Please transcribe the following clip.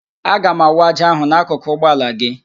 Aga m awụ ájá ahụ n'akụkụ ụgbọ ala gị